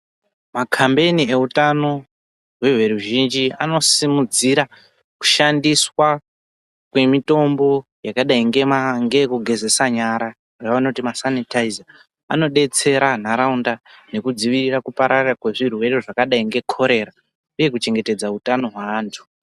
Makhambeni utano everuzhinji anosimudzira kushandiswa kwemitombo yakadai ngeyekugezesa nyara, aanoti masanitaiza, anodetsera ntaraunda nekudzivirira kupararira kwezvirwere zvakadai ngekorera uye kuchengetedza utano hweantu.